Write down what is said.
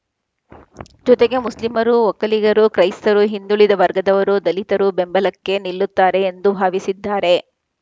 ಜೊತೆಗೆ ಮುಸ್ಲಿಮರು ಒಕ್ಕಲಿಗರು ಕ್ರೈಸ್ತರು ಹಿಂದುಳಿದ ವರ್ಗದವರು ದಲಿತರು ಬೆಂಬಲಕ್ಕೆ ನಿಲ್ಲುತ್ತಾರೆ ಎಂದು ಭಾವಿಸಿದ್ದಾರೆ